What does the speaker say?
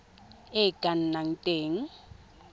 e e ka nnang teng